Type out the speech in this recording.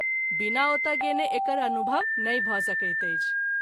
बिना ओतय गेने एकर अनुभव नहिं भ’ सकैत अछि।